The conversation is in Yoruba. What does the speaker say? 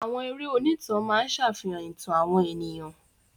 Àwọn eré Onítànà máa ń ṣàfihàn ìtàn àwọn ènìyàn.